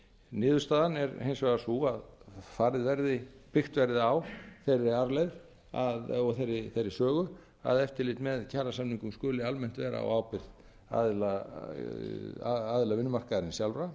niðurstaðan er hins vegar sú að byggt verði á þeirri arfleifð og þeirri sögu að eftirlit með kjarasamningum skuli almennt vera á ábyrgð aðila vinnumarkaðarins sjálfra